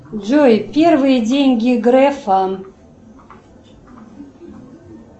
джой первые деньги грефа